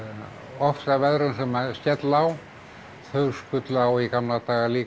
ofsaveðrum sem skella á þau skullu á í gamla daga líka